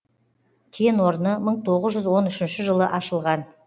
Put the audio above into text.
кен орны мың тоғыз жүз он үшінші жылы ашылған